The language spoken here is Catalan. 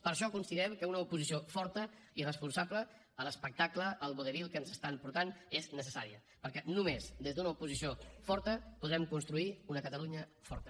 per això considerem que una oposició forta i responsable a l’espectacle al vodevil que ens estan portant és necessària perquè només des d’una oposició forta podrem construir una catalunya forta